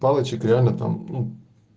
палочек реально там